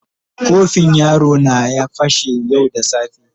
Kofin yaro na ya fashe yau da safe.